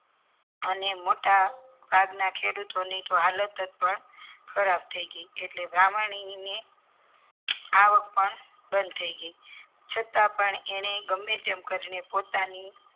અને મોટા ભાગના ખેડૂતો ની હાલત પણ ખરાબ થઈ ગયા એટલે આવક પણ બંધ થઈ ગઈ છતાં પણ એણે ગમે તેમ કરી ને પોતાની